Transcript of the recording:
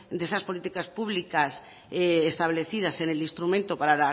de esas políticas públicas establecidas en el instrumento para